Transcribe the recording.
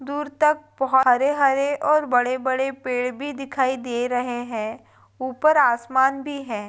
दूर तक बहो हरे-हरे और बड़े-बड़े पेड़ भी दिखाई दे रहे हैं ऊपर आसमान भी है।